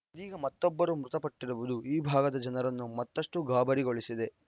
ಇದೀಗ ಮತ್ತೊಬ್ಬರು ಮೃತಪಟ್ಟಿರುವುದು ಈ ಭಾಗದ ಜನರನ್ನು ಮತ್ತಷ್ಟುಗಾಬರಿಗೊಳಿಸಿದೆ